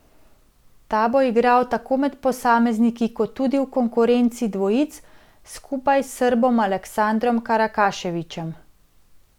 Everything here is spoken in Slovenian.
Ta bo igral tako med posamezniki kot tudi v konkurenci dvojic skupaj s Srbom Aleksandrom Karakaševićem.